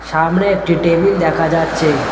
সামনে একটি টেবিল দেখা যাচ্ছে।